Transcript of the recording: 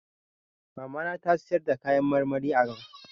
Mamata ta na sayarda kayan marmari a kasuwar mobil